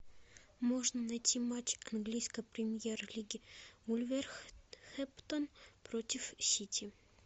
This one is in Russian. можно найти матч английской премьер лиги вулверхэмптон против сити